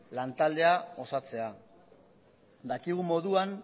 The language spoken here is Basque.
lantaldea osatzea dakigun moduan